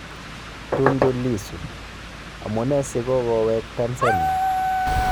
Tundu Lissu: Amune si kogoweek Tansania